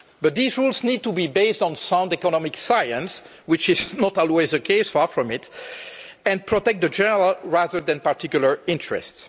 But these rules need to be based on sound economic science, which is not always the case far from it and protect the general, rather than particular, interests.